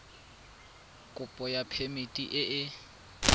kopo ya phemiti e e